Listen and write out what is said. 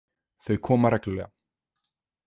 Þau koma reglulega.